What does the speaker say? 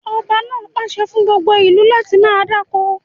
Ọba náà pàṣẹ fún gbogbo ìlú láti máa dáko!